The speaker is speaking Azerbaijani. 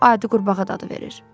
Lap adi qurbağa dadı verir.